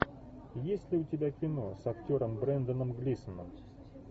есть ли у тебя кино с актером бренданом глисоном